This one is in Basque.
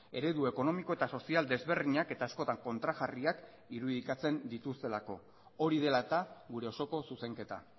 eredu ekonomiko eta sozial desberdinak eta askotan kontrajarriak irudikatzen dituztelako hori dela eta gure osoko zuzenketa